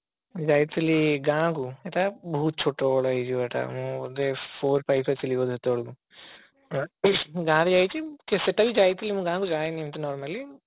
ଯାଇଥିଲି ଗାଁ କୁ ଏତ ବହୁତ ଛୋଟ ବେଳେ ହେଇଯିବ ଏଟା ଆମ four five ରେ ଥିଲି ବୋଧେ ସେତେବେଳକୁ ଗାଁକୁ ଯାଇଛି ସେଟା ବି ଗାଁକୁ ଯାଇଥିଲି ମୁଁ ଗାଁକୁ ଯାଏନି ଏମତି normally